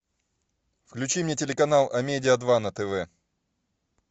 включи мне телеканал амедиа два на тв